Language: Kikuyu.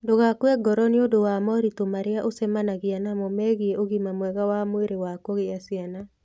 Ndũgakue ngoro nĩ ũndũ wa moritũ marĩa ũcemanagia namo megiĩ ũgima mwega wa mwĩrĩ wa kugĩa ciana.